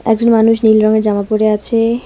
একজন মানুষ নীল রঙের জামা পরে আছে।